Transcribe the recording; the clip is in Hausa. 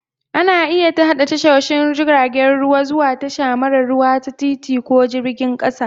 Ana iya haɗa tashoshin jiragen ruwa zuwa tasha mara ruwa ta titi ko jirgin ƙasa